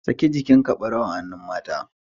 Saki jikinka barawu a hannun mata